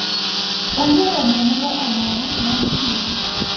Onge romo moro amora ma gitimo,